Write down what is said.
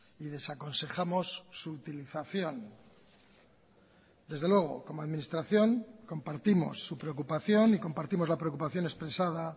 y desaconsejamos su utilización desde luego como administración compartimos su preocupación y compartimos la preocupación expresada